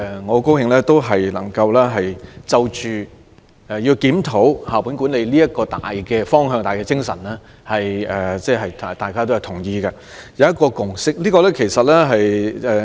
我很高興今天數項修正案對於檢討校本管理的大方向、大精神均表示同意，並達成共識。